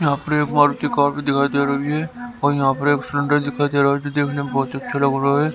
यहां पर एक मारुति कार भी दिखाई दे रही है और यहां पर एक दिखाई दे रहा है जो देखने में बहोत अच्छा लग रहा है।